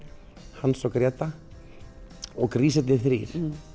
Hans og Gréta og grísirnir þrír